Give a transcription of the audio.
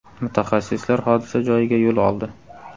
Mutaxassislar hodisa joyiga yo‘l oldi.